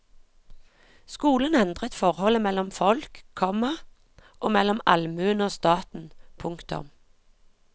Skolen endret forholdet mellom folk, komma og mellom allmuen og staten. punktum